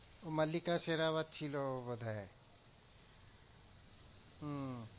মল্লিকা শেরাওয়াত ছিল বোধ হয় হম